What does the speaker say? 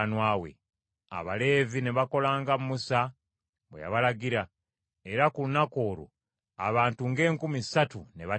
Abaleevi ne bakola nga Musa bwe yabalagira; era ku lunaku olwo abantu ng’enkumi ssatu ne battibwa.